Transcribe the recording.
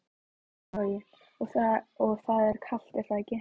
Logi: Og það er kalt er það ekki?